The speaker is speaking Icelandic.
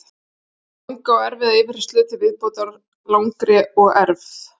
Eftir langa og erfiða yfirheyrslu til viðbótar langri og erf